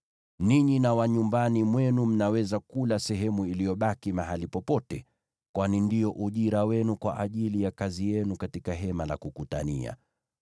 Ninyi na watu wa nyumbani mwenu mnaweza kula sehemu iliyobaki mahali popote, kwani ndio ujira wenu kwa ajili ya kazi yenu katika Hema la Kukutania.